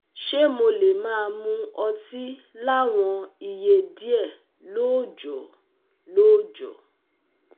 Ṣé mo lè máa mu ọtí láwọn iye díẹ̀ lóòjó?" lóòjó?"